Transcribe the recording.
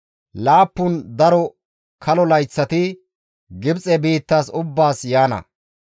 Laappun daro kalo layththati Gibxe biittas ubbaas yaana;